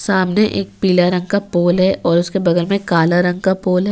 सामने एक पीला रंग का पोल है और उसके बगल में काला रंग का पोल है।